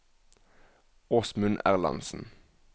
Åsmund Erlandsen